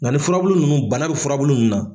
Nka ni furabulu ninnu bana bɛ furabulu ninnu na.